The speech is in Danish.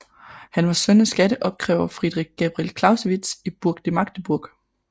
Han var søn af skatteopkræver Friedrich Gabriel Clausewitz i Burg ved Magdeburg